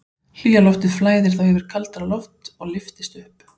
Hlýja loftið flæðir þá yfir kaldara loft og lyftist upp.